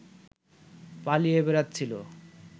পালিয়ে বেড়াচ্ছিলো